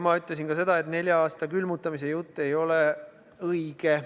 Ma ütlesin ka seda, et nelja aasta külmutamise jutt ei ole õige.